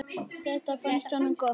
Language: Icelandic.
Þetta fannst honum gott.